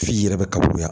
F'i yɛrɛ ka bonya